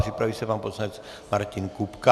Připraví se pan poslanec Martin Kupka.